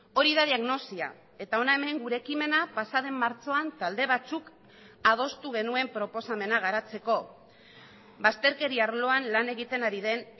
hori da diagnosia eta hona hemen gure ekimena pasaden martxoan talde batzuk adostu genuen proposamena garatzeko bazterkeria arloan lan egiten ari den